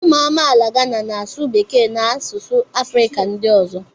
ụmụ amaala Gana na-asụ Bekee na asụsụ Afrịka ndị ọzọ